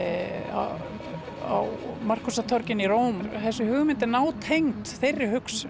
á Markúsartorgi í Róm þessi hugmynd er nátengd þeirri hugsun